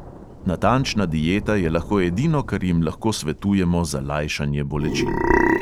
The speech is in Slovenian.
Natančna dieta je lahko edino, kar jim lahko svetujemo za lajšanje bolečin.